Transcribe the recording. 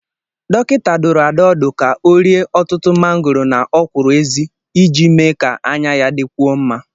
Dọkịta dụrụ Ada ọdụ ka ọ rie ọtụtụ mangoro na ọkwụrụ-ezi iji mee ka anya ya dịkwuo mma.